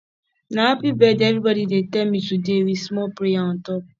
na happy birthday everybodi dey tell me today wit small prayer on top